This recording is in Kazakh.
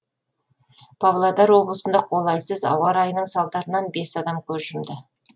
павлодар облысында қолайсыз ауа райының салдарынан бес адам көз жұмды